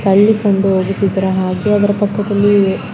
ತಳ್ಳಿಕೊಂಡು ಹೋಗುತ್ತಿದ್ದರೆ ಹಾಗೆ ಅದರ ಪಕ್ಕದಲ್ಲಿ--